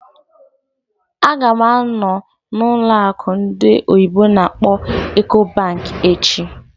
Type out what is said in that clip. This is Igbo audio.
Ága m anọ n'ụlọ akụ ndị oyibo n'akpọ "Ecobank" echi